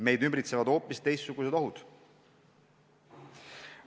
Meid ümbritsevad hoopis teistsugused ohud.